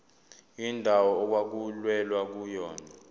indawo okwakulwelwa kuyona